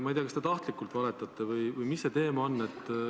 Ma ei tea, kas te tahtlikult valetate või mis see on.